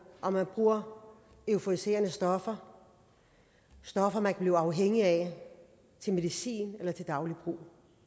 om man bruger euforiserende stoffer stoffer man kan blive afhængige af til medicin eller til daglig brug